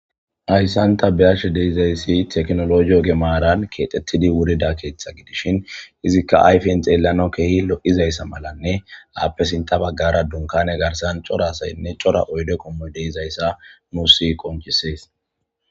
Hassan ta beashe deizzayssi tekkinollojje ogge maara kexxetidi wurrida keththa giidishin iizzika ayffen xeelanawu kehi lo'izayssa mallanne aappe sintta baggara dunkkane garssan coora asaynn oydde qommoy deizayssa nussi qonccises.